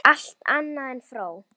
En fæstir feta svo langt.